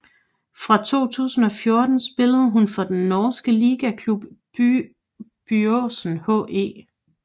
Fra 2014 spillede hun for den norske ligaklub Byåsen HE